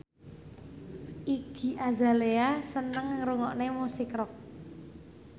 Iggy Azalea seneng ngrungokne musik rock